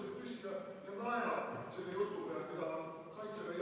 Hea juhataja, kelle kord on rääkida?